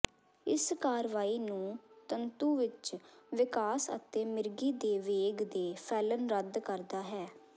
ਇਸ ਕਾਰਵਾਈ ਨੂੰ ਤੰਤੂ ਵਿਚ ਵਿਕਾਸ ਅਤੇ ਮਿਰਗੀ ਦੇ ਵੇਗ ਦੇ ਫੈਲਣ ਰੱਦ ਕਰਦਾ ਹੈ